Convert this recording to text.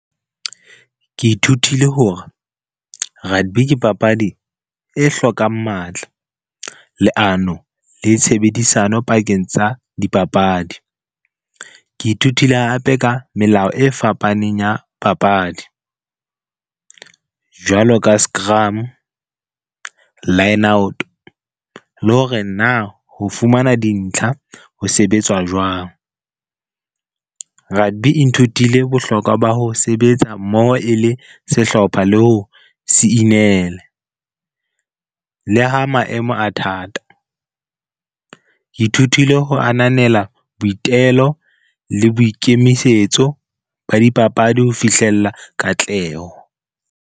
Ke ithutile hore, rugby ke papadi e hlokang matla, leano le tshebedisano pakeng tsa dipapadi. Ke ithutile hape ka melao e fapaneng ya papadi, jwalo ka scrum, line out le hore na ho fumana dintlha ho sebetswa jwang. Rugby e nthutile bohlokwa ba ho sebetsa mmoho e le sehlopha le ho siinele le ha maemo a thata. Ke ithutile ho ananela boitelo le boikemisetso ba dipapadi ho fihlella katleho.